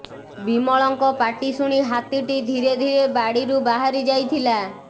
ବିମଳଙ୍କ ପାଟି ଶୁଣି ହାତୀଟି ଧୀରେ ଧୀରେ ବାଡ଼ିରୁ ବାହାରି ଯାଇଥିଲା